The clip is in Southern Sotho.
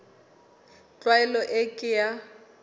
tlwaelo e ke ke ya